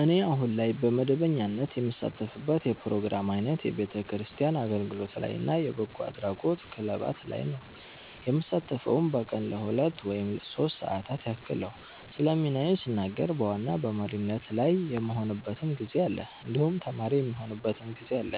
እኔ አሁን ላይ በመደበኛነት የምሳተፍበት የፕሮግራም አይነት የቤተክርስቲያን አገልግሎት ላይ እና የበጎ አድራጎት ክለባት ላይ ነዉ። የምሳተፈዉም በቀን ለሁለት ወይም ሶስት ሰዓታት ያክል ነዉ። ስለ ሚናዬ ስናገር በዋና በመሪነት ላይ የምሆንበትም ጊዜ አለ እንዲሁም ተማሪ የምሆንበትም ጊዜ አለ